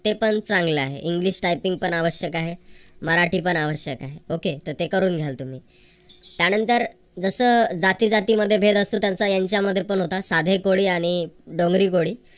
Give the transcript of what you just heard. ते पण चांगलं आहे english typing पण आवश्यक आहे मराठी पण आवश्यक आहे okay तर ते करून घ्याल तुम्ही त्यानंतर जस जातीजातींमध्ये भेद असतो त्यांचा यांच्यामध्ये पण होता साधे कोळी आणि डोंगरी कोळी